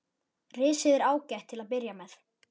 Risið er ágætt til að byrja með.